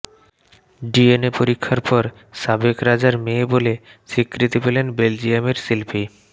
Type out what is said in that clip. DNA পরীক্ষার পর সাবেক রাজার মেয়ে বলে স্বীকৃতি পেলেন বেলজিয়ামের শিল্পী